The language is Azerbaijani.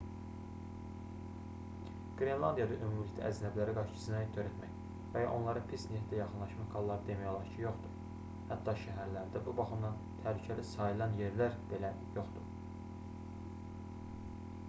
qrenlandiyada ümumilikdə əcnəbilərə qarşı cinayət törətmək və ya onlara pis niyyətlə yaxınlaşmaq halları demək olar ki yoxdur hətta şəhərlərdə bu baxımdan təhlükəli sayılan yerlər belə yoxdur